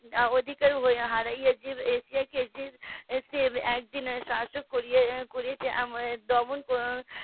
না অধিকার হয়ে . একদিন শাসন করেছে আমাদের দমন